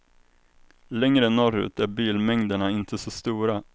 Längre norrut är bilmängderna inte så stora.